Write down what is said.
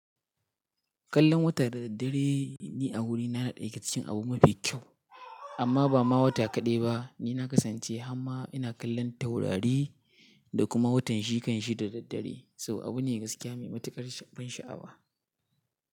Kallon wata da daddare ni a wuri na ɗaya yake ciki abu mafi kyau, amma ba ma wata kaɗai ba ni na kasance, amma ina kallon taurari da kuma watan shikan shi da daddare saboda abu ne gaskiya mai matuƙar ban sha'awa.